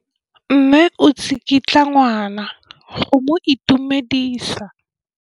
Mme o tsikitla ngwana go mo itumedisa.